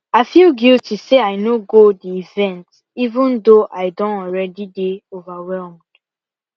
i feel guilty say i no go the event even though i don already dey overwhelmed